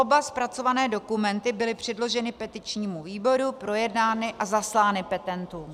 Oba zpracované dokumenty byly předloženy petičnímu výboru, projednány a zaslány petentům.